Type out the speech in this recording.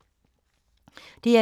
DR2